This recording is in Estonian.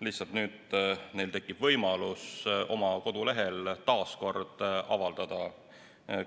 Lihtsalt nüüd tekib neil võimalus oma kodulehel taas kord